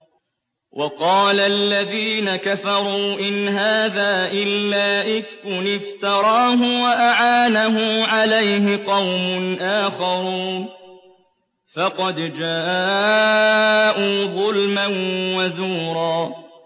وَقَالَ الَّذِينَ كَفَرُوا إِنْ هَٰذَا إِلَّا إِفْكٌ افْتَرَاهُ وَأَعَانَهُ عَلَيْهِ قَوْمٌ آخَرُونَ ۖ فَقَدْ جَاءُوا ظُلْمًا وَزُورًا